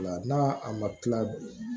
O la n'a a ma kila